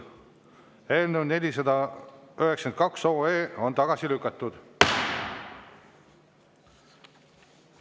Eelnõu 492 on tagasi lükatud.